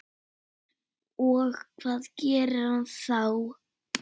Og hvað gerir hann þá?